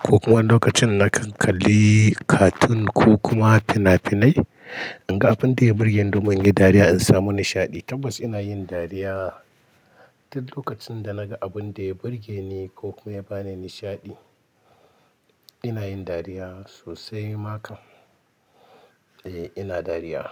ko kuma lokacin na kalla cartoon ko kuma fina-finai. In ga abin da ya burge ni domin in yi dariya in samu nishaɗi. Tabbas ina yin dariya duk lokacin da naga abun da ya burge ni ko kuma ya ba ni nishaɗi. Ina yin dariya sosai ma kan. Eh ina dariya.